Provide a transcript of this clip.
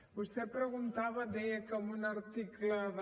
vostè preguntava deia que en un article de